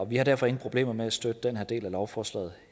vi har derfor ingen problemer med at støtte den her del af lovforslaget